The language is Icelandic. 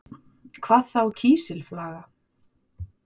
Hvað þá kísilflaga?